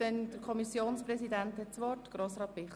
Das Wort hat der Kommissionspräsident Grossrat Bichsel.